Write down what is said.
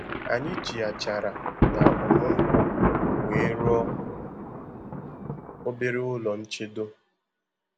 Anyị ji achara na ọmu nkwu wee rụọ obere ụlọ nchedo